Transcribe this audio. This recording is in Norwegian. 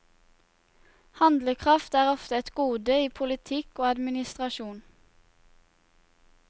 Handlekraft er ofte et gode i politikk og administrasjon.